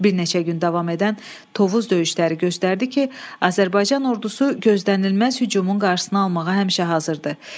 Bir neçə gün davam edən Tovuz döyüşləri göstərdi ki, Azərbaycan ordusu gözlənilməz hücumun qarşısını almağa həmişə hazırdır.